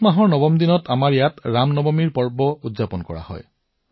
চত মাহৰ নৱম দিনা আমাৰ ইয়াত ৰাম নৱমী উৎসৱ পালন কৰা হয়